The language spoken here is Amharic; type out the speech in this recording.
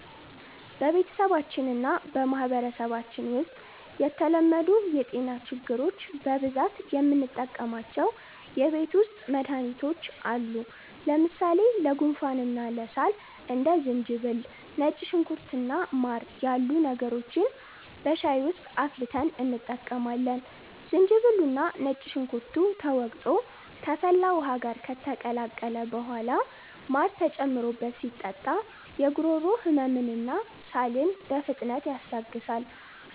በቤተሰባችንና በማህበረሰባችን ውስጥ ለተለመዱ የጤና ችግሮች በብዛት የምንጠቀማቸው የቤት ውስጥ መድሃኒቶች አሉ። ለምሳሌ ለጉንፋንና ለሳል እንደ ዝንጅብል፣ ነጭ ሽንኩርት እና ማር ያሉ ነገሮችን በሻይ ውስጥ አፍልተን እንጠቀማለን። ዝንጅብሉና ነጭ ሽንኩርቱ ተወቅሮ ከፈላ ውሃ ጋር ከተቀላቀለ በኋላ ማር ተጨምሮበት ሲጠጣ የጉሮሮ ህመምንና ሳልን በፍጥነት ያስታግሳል።